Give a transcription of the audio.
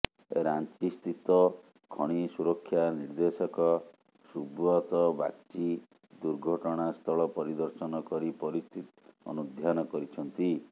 ରାଞ୍ଚିସ୍ଥିତ ଖଣି ସୁରକ୍ଷା ନିର୍ଦ୍ଦେଶକ ସୁବ୍ରତ ବାଗ୍ଚି ଦୁର୍ଘଟଣାସ୍ଥଳ ପରିଦର୍ଶନ କରି ପରିସ୍ଥିତି ଅନୁଧ୍ୟାନ କରିଛନ୍ତି